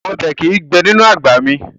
Ọbẹ̀ kìí gbé inú àgbà mì